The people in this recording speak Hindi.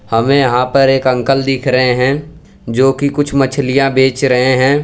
हमें यहां पर एक अंकल दिख रहे हैं जोकि कुछ मछलियां बेच रहे हैं।